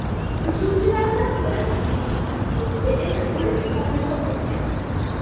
Uchuvchilardan bri tirik, ikkinchisi esa o‘lik holda topilgan.